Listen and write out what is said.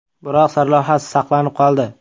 Biroq sarlavhasi saqlanib qoldi.